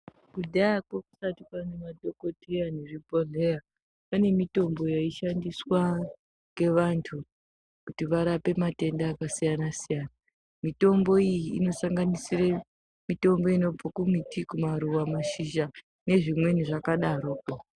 Kudhayakwo kusati kwane madhokodheya nezvibhodhleya pane mitombo yaishandiswa ngevantu kuti varape matenda akasiyana siyana mitombo iyi inosanganisire mitombo inobve kumiti kumaruwa mashizha nezvimweni zvakadarokwo.